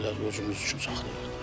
Deyirlər özümüz üçün saxlayırıq da.